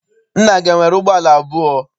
Nna gị enwere ụgbọala abụọ?